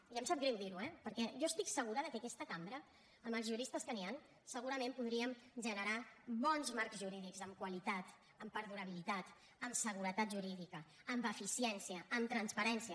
i em sap greu dirho eh perquè jo estic segura que aquesta cambra amb els juristes que hi han segurament podríem generar bons marcs jurídics amb qualitat amb perdurabilitat amb seguretat jurídica amb eficiència amb transparència